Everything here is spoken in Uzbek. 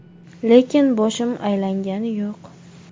Lekin boshim aylangani yo‘q.